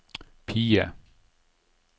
PIE